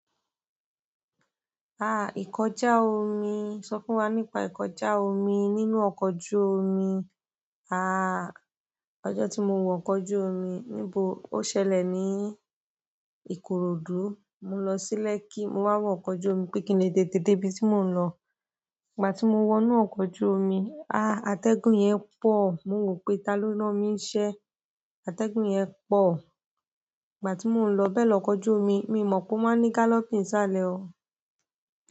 Ah! Ikọjá omi, sọ fún wa nípa ikọjá omi nínú ọkọ̀ ojú omi. Aah ọjọ́ tí mo wo ọkọ̀ ojú omi níbo. Ó ṣẹlẹ̀ ní Ikorodu. Mo lọ sí lẹ̀kkí mo wá wọ ọkọ̀ ojú omi pé kín lè tètè dé ibi tí mò ń lọ. Ìgbà tí mo wọ inú ọkọ̀ ojú omi, ah! Atẹ́gùn yẹn pọ̀. Mo wò pé ta ló rán mi iṣẹ́. Atẹ́gùn yẹn pọ̀. Ìgbà tí mo ń lọ bẹ̀ ni ọkọ̀ ojú omi míì mo pọ̀ ma ń ní galloping ń sale o.